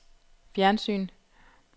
fjernsyn